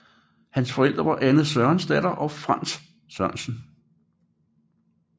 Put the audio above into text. Hans forældre var Anne Sørensdatter og Frantz Sørensen